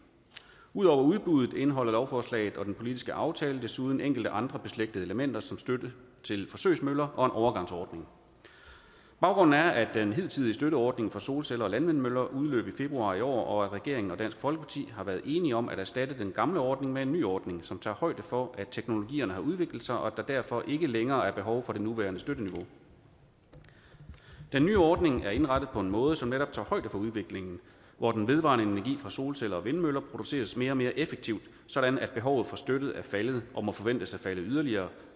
ud over udbuddet indeholder lovforslaget og den politiske aftale desuden enkelte andre beslægtede elementer såsom støtte til forsøgsmøller og en overgangsordning baggrunden er at den hidtidige støtteordning for solceller og landvindmøller udløb i februar i år og at regeringen og dansk folkeparti har været enige om at erstatte den gamle ordning med en ny ordning som tager højde for at teknologierne har udviklet sig og at der derfor ikke længere er behov for det nuværende støtteniveau den nye ordning er indrettet på en måde som netop tager højde for udviklingen hvor den vedvarende energi fra solceller og vindmøller produceres mere og mere effektivt sådan at behovet for støtte er faldet og må forventes at falde yderligere